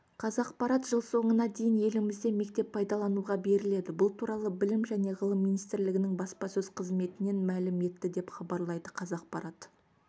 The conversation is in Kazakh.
қазақпарат жыл соңына дейін елімізде мектеп пайдалануға беріледі бұл туралы білім және ғылым министрлігінің баспасөз қызметінен мәлім етті деп хабарлайды қазақпарат